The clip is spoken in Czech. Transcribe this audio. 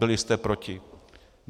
Byli jste proti.